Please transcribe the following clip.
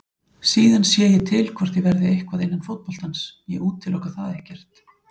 Síðan sé ég til hvort ég verði eitthvað innan fótboltans, ég útiloka það ekkert.